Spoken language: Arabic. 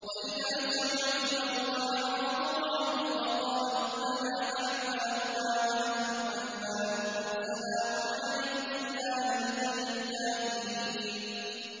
وَإِذَا سَمِعُوا اللَّغْوَ أَعْرَضُوا عَنْهُ وَقَالُوا لَنَا أَعْمَالُنَا وَلَكُمْ أَعْمَالُكُمْ سَلَامٌ عَلَيْكُمْ لَا نَبْتَغِي الْجَاهِلِينَ